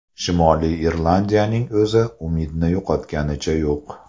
Shimoliy Irlandiyaning o‘zi umidni yo‘qotganicha yo‘q.